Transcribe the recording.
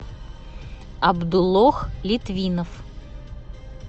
абдулох литвинов